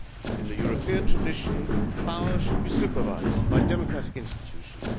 In the European tradition, power should be supervised by democratic institutions.